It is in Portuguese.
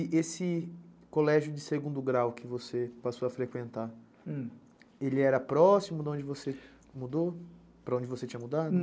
E esse colégio de segundo grau que você passou a frequentar, ele era próximo de onde você mudou, para onde você tinha mudado?